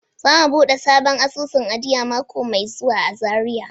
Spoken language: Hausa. Za mu buɗe sabon asusun ajiya mako mai zuwa a Zariya.